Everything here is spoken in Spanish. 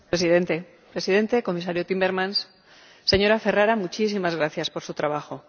Señor Presidente, Comisario Timmermans, señora Ferrara, muchísimas gracias por su trabajo.